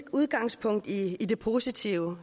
udgangspunkt i det positive